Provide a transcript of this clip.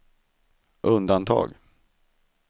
undantag